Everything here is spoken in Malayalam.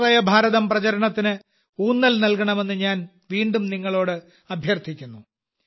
സ്വാശ്രയ ഭാരതം പ്രചാരണത്തിന് ഊന്നൽ നൽകണമെന്ന് ഞാൻ വീണ്ടും നിങ്ങളോട് അഭ്യർത്ഥിക്കുന്നു